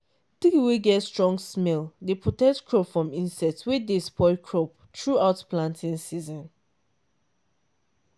tree wey get strong smell dey protect crop from insect wey dey spoil crop throughout planting season.